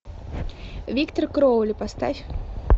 виктор кроули поставь